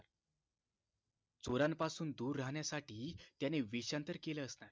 चोरांपासून दूर राहण्यासाठी त्याने वेशांतर केल असणार